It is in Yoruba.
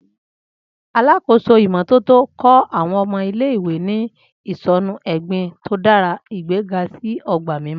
Alakoso imototo kọ àwọn ọmọ ile-iwe ni isọnu egbin to dara, igbega si ogba mimọ.